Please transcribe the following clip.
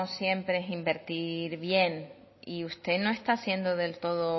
siempre es invertir bien y usted no está siendo del todo